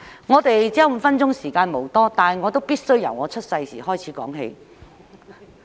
我只有5分鐘發言，時間無多，但我必須由我出生那時開始說起。